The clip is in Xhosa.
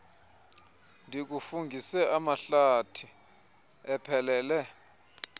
ndikufungise amahlathi ephelele